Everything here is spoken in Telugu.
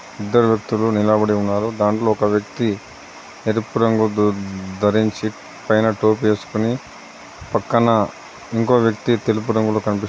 ఇద్దరు వ్యక్తులు నిలబడి ఉన్నారు. దాంట్లో ఒక వ్యక్తి ఎరుపు రంగు దు-ధరించి పైన టోపీ వేసుకొని పక్కన ఇంకో వ్యక్తి తెలుపు రంగులో కనిపిస్--